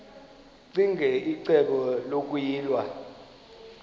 ccinge icebo lokuyilwa